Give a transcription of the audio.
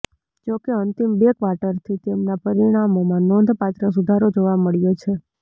જોકે અંતિમ બે ક્વાર્ટરથી તેમના પરિણામોમાં નોંધપાત્ર સુધારો જોવા મળ્યો છે